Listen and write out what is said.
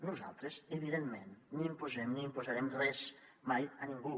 nosaltres evidentment ni imposem ni imposarem res mai a ningú